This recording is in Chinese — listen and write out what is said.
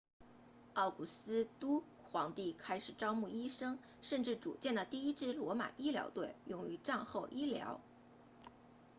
奥古斯都皇帝开始招募医生甚至组建了第一支罗马医疗队用于战后医疗